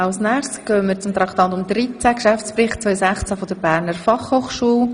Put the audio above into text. Als nächstes stellt Frau Grossrätin Speiser Traktandum 13 vor, den Geschäftsbericht der Berner Fachhochschule.